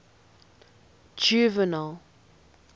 juvenal